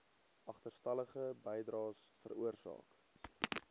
agterstallige bydraes veroorsaak